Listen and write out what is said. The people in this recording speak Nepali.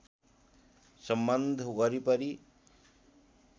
सम्बन्ध वरिपरि